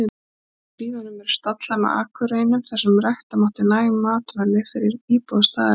Í hlíðunum eru stallar með akurreinum þar sem rækta mátti næg matvæli fyrir íbúa staðarins.